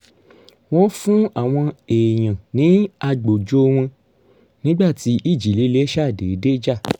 wọ́n fún àwọn èèyàn ní agbòjò wọn nígbà tí ìjì líle ṣàdédé jà